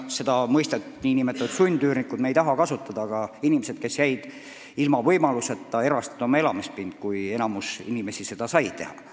Mõistet "sundüürnikud" me ei taha kasutada, jutt on inimestest, kes jäid ilma võimalusest oma elamispind erastada, kui enamik inimesi sai seda teha.